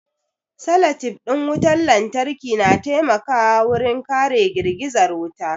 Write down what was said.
Salatif ɗin wutar lantarki na taimakawa wurin kare girgizar wuta